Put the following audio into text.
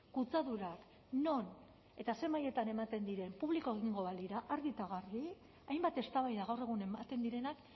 kutsadurak non eta zer mailetan ematen diren publiko egingo balira argi eta garbi hainbat eztabaida gaur egun ematen direnak